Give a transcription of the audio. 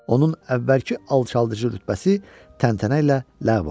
Onun əvvəlki alçaldıcı rütbəsi təntənə ilə ləğv olundu.